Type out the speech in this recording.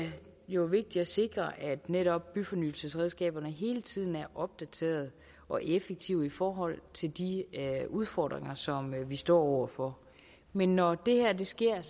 jo vigtigt at sikre at netop byfornyelsesredskaberne hele tiden er opdateret og effektive i forhold til de udfordringer som vi står over for men når det her sker er